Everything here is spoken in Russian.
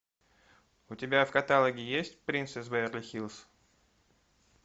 у тебя в каталоге есть принц из беверли хиллз